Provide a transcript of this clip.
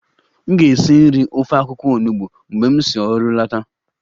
M ga-esi nri ofe akwụkwọ onugbo mgbe m si ọrụ lọta